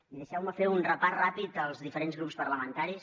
i deixeu me fer un repàs ràpid dels diferents grups parlamentaris